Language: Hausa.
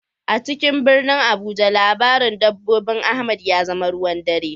A cikin birnin Abuja labarin dabbobin Ahmad ya zama ruwan dare.